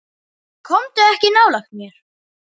Komdu ekki nálægt mér.